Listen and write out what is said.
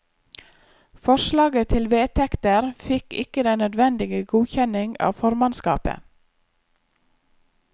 Forslaget til vedtekter fikk ikke den nødvendige godkjenning av formannskapet.